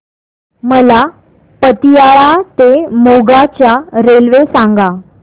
मला पतियाळा ते मोगा च्या रेल्वे सांगा